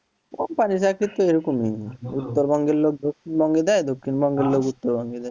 company র চাকরি তো এরকই উত্তরবঙ্গের লোক দক্ষিণবঙ্গে যায়, দক্ষিণবঙ্গের লোক উত্তরবঙ্গে যায়।